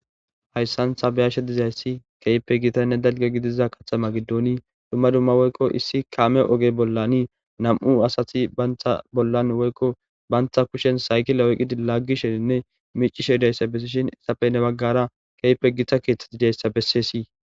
Hayssan thabayashe dizayssi keype gitanne dalge gidiza kathama giddooni dumma dumma woykko issi kaame oge bollani nam'u asati bayntha bollan woykko bantha kushen saykila oyqidi laggisheninne mici sheidayssa bessishin issape ne baggara keype gita keeththeti dayssa bessessi.